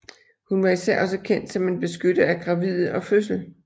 Hun var især også kendt som en beskytter af gravide og fødsel